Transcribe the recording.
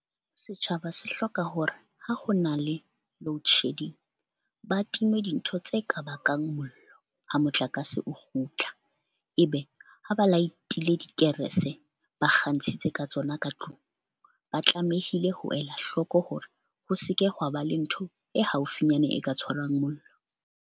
Setjhaba se hloka hore ha ho na le loadshedding ba time dintho tse ka bakang mollo ha motlakase o kgutla. Ebe ha ba light-ile dikerese, ba kgantshitse ka tsona ka tlung ba tlamehile ho ela hloko hore ho seke hwa ba le ntho e haufinyane e ka tshwarwang mollo.